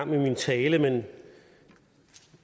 min tale men